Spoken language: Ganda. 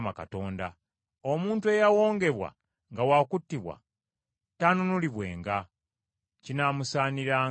Omuntu eyawongebwa nga wa kuttibwa, taanunulibwenga kinaamusaaniranga kuttibwa.